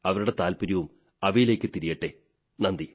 അവരുടെ താത്പര്യവും അവയിലേക്കു തിരിയട്ടെ നന്ദി